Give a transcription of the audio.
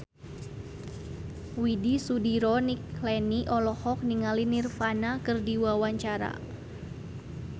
Widy Soediro Nichlany olohok ningali Nirvana keur diwawancara